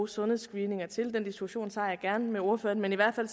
sundhedsscreeninger til den diskussion tager jeg gerne med ordføreren men i hvert fald